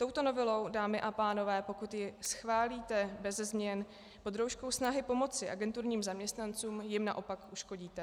Touto novelou, dámy a pánové, pokud ji schválíte beze změn pod rouškou snahy pomoci agenturním zaměstnancům, jim naopak uškodíte.